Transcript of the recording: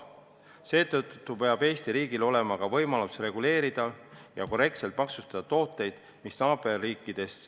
Seetõttu peab Eesti riigil olema võimalus reguleerida ja korrektselt maksustada tooteid, mida naaberriikides müüakse.